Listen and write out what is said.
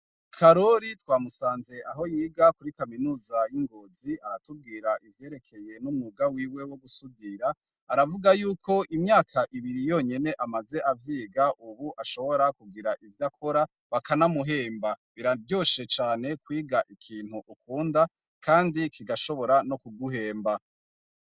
Karori twamusanze aho yiga muri kaminuza yingozi aratubwira ivyerekeye umwuga wiwe wogusudira aravuga yuko imyaka ibiri yonenye amaze avyiga ubu ashobora kugira ivyakora bakanamuhemba biraryoshe cane kwiga ikintu kandi ukunda kandi kigashobora kuguhemba